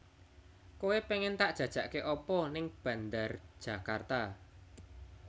Koe pengen tak jajake apa ning Bandar Djakarta